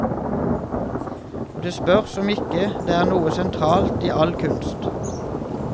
Og det spørs om ikke det er noe sentralt i all kunst.